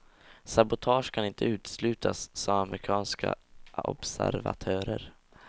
Sabotage kan inte uteslutas, sa amerikanska observatörer.